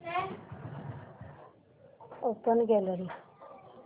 open gallery